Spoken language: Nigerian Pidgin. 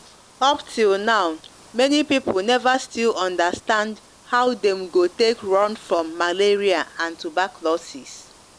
up till now many people never still understand how dem go take run from malaria and turbaclosis